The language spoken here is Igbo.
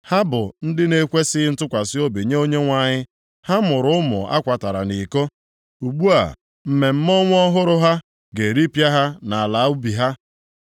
Ha bụ ndị na-ekwesighị ntụkwasị obi nye Onyenwe anyị. Ha mụrụ ụmụ a kwatara nʼiko. Ugbu a, mmemme ọnwa ọhụrụ ha ga-eripịa ha na ala ubi ha.